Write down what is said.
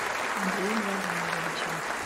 андреем владимировичем